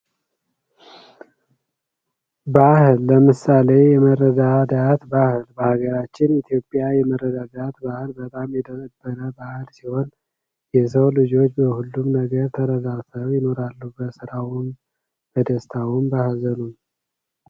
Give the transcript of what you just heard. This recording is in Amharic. ባህል ለምሳሌ የመረዳዳት ባህል በሀገራችን ኢትዮጵያ የነበረ ባህል ሲሆን የሰው ልጆች በሁሉም ተረዳርተው ይኖራሉ በስራ በደስታውም በሀዘኑም።